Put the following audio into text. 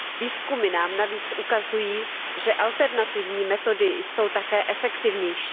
Výzkumy nám navíc ukazují, že alternativní metody jsou také efektivnější.